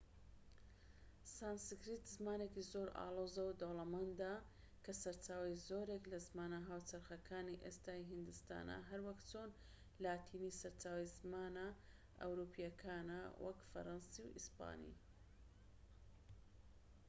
سانسکریت زمانێکی زۆر ئاڵۆز و دەوڵەمەندە کە سەرچاوەی زۆرێک لە زمانە هاوچەرخەکانی ئێستای هیندستانە هەروەک چۆن لاتینی سەرچاوەی زمانە ئەوروپییەکانە وەک فەرەنسی و ئیسپانی